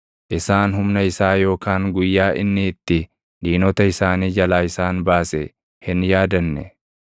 Isaan humna isaa yookaan guyyaa inni itti diinota isaanii jalaa isaan baase hin yaadanne.